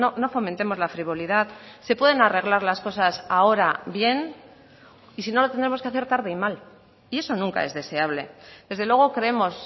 no fomentemos la frivolidad se pueden arreglar las cosas ahora bien y si no lo tendremos que hacer tarde y mal y eso nunca es deseable desde luego creemos